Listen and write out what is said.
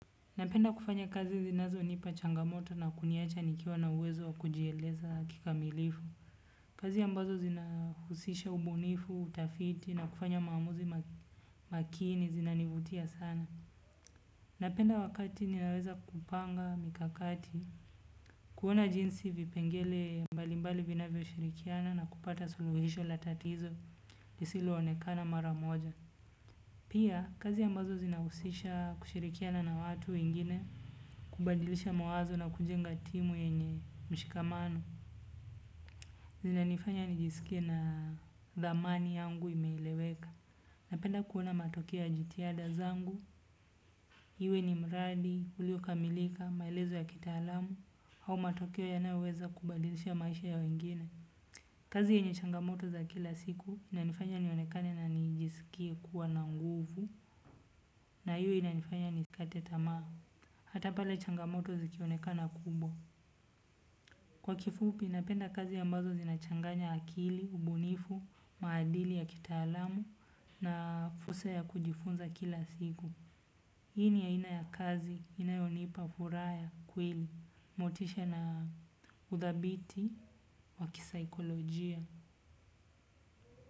Napenda kufanya kazi zinazonipa changamoto na kuniacha nikiwa na uwezo wa kujieleza kikamilifu. Kazi ambazo zinahusisha ubunifu, utafiti na kufanya maamuzi makini zinanivutia sana. Napenda wakati ninaweza kupanga mikakati kuona jinsi vipengele mbalimbali vinavyoshirikiana na kupata suluhisho la tatizo lisiloonekana mara moja. Pia, kazi ambazo zinahusisha kushirikiana na watu wengine, kubadilisha mawazo na kujenga timu yenye mshikamano, zinanifanya nijisikie na dhamani yangu imeeleweka. Napenda kuona matokeo ya jitihada zangu iwe ni mradi uliokamilika maelezo ya kitaalamu au matokeo yanayoweza kubadilisha maisha ya wengine. Kazi yenye changamoto za kila siku inanifanya nionekane na nijisikie kuwa na nguvu na hiyo inanifanya nisikate tamaa. Hata pale changamoto zikionekana kubwa. Kwa kifupi napenda kazi ambazo zinachanganya akili, ubunifu, maadili ya kitaalamu na fursa ya kujifunza kila siku. Hii ni ya aina ya kazi inayonipa furaha ya kweli, motisha na udhabiti wa kisaikolojia.